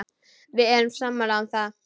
Við erum sammála um það.